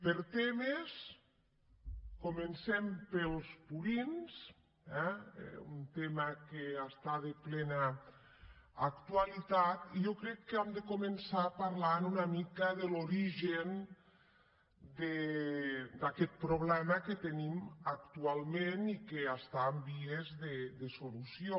per temes comencem pels purins eh un tema que està de plena actualitat i jo crec que hem de començar parlant una mica de l’origen d’aquest problema que tenim actualment i que està en vies de solució